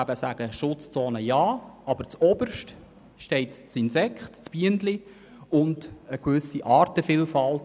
Schutzzonen Ja, aber zuoberst steht das Insekt, die Biene, und eine gewisse Artenvielfalt.